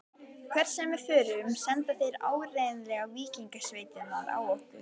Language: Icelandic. Hvert sem við förum senda þeir áreiðanlega víkingasveitirnar á okkur.